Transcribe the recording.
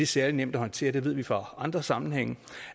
særlig nemt at håndtere der ved vi fra andre sammenhænge